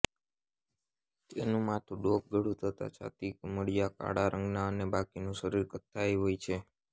તેનું માથું ડોક ગળું તથા છાતી ધૂમાડીયા કાળા રંગનાં અને બાકીનું શરીર કથ્થાઈ હોય છે